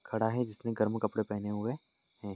खड़ा है जिसने गरम कपड़े पहने हुये है।